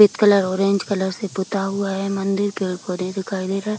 सफ़ेद colour orange colour से पोता हुआ है मंदिर पेड़-पौधे दिखाई दे रहे हैं।